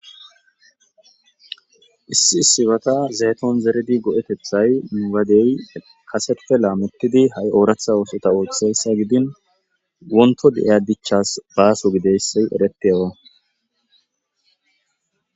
issi sifata zeeton zeredi go7etethay mwadey kasetupe la mittidi ha7i ooratha oosota ooththeyssa gidin wonto de7iya dichas baaso gideyssy erettewa